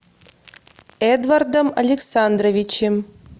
эдвардом александровичем